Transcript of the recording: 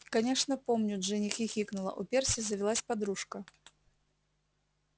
конечно помню джинни хихикнула у перси завелась подружка